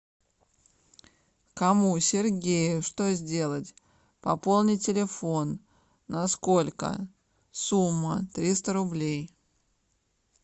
кому сергею что сделать пополнить телефон на сколько сумма триста рублей